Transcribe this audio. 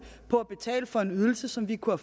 på at betale for en ydelse som vi kunne